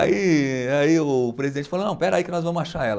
Aí, aí o presidente falou, não, espera aí que nós vamos achar ela.